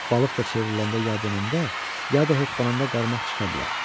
Balıq da çevriləndə ya dönəndə, ya da hoppananda qarmaq çıxa bilər.